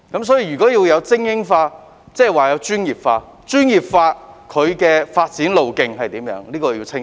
所以，如果要精英化，便要專業化，為他們提供清晰的發展路徑。